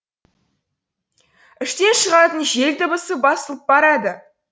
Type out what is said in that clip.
іштен шығатын жел дыбысы басылып барады